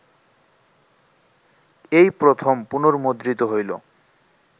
এই প্রথম পুনর্মুদ্রিত হইল